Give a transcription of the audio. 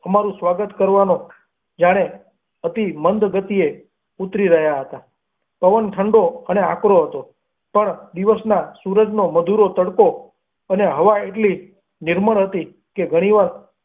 અમારું સ્વાગત કરવાને જાણે અતિ મંદ ગતિએ ઊતરી રહ્યા હતા. પવન ઠંડો અને આકરો હતો પણ દિવસના સૂરજનો મધુરો તડકો અને હવા એટલી નિર્મળ હતી કે ઘણી વાર.